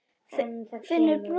Finnur brosti.